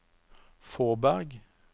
Fåberg